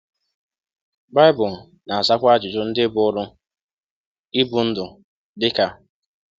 BAỊBỤL na-azakwa ajụjụ ndị buru ibu NDỤ, DỊ KA: